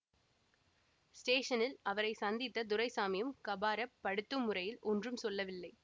ஸ்டேஷனில் அவரை சந்தித்த துரைசாமியும் காபராப் படுத்தும் முறையில் ஒன்றும் சொல்லவில்லை